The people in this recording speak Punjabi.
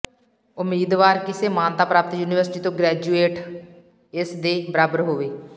ਉਮੀਦਵਾਰ ਕਿਸੇ ਮਾਨਤਾ ਪ੍ਰਾਪਤ ਯੂਨੀਵਰਸਿਟੀ ਤੋਂ ਗ੍ਰੈਜੂਏਠ ਇਸ ਦੇ ਬਰਾਬਰ ਹੋਵੇ